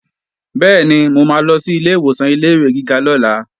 Bẹ́ẹ̀ni, mo máa lọ sí ilé ìwòsàn ilé-ìwé gíga lọ́la